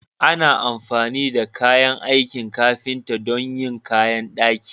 Ana amfani da kayan aikin ƙafinta don yin ƙayan daƙi.